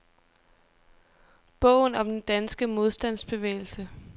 Bogen om den danske modstandsbevægelse.